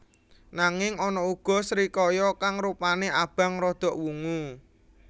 Nanging ana uga srikaya kang rupané abang rada wungu